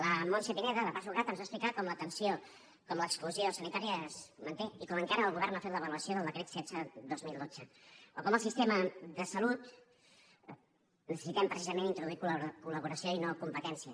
la montse pineda de pasucat ens va explicar com l’exclusió sanitària es manté i com encara el govern no ha fet l’avaluació del decret setze dos mil dotze o com al sistema de salut necessitem precisament introduir collaboració i no competència